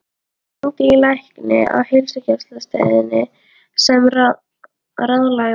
Hún hringdi í lækni á heilsugæslustöðinni sem ráðlagði